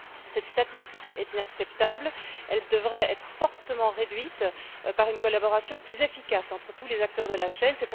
Cette statistique est inacceptable. Elle devrait être fortement réduite par une collaboration plus efficace entre tous les acteurs de la chaîne.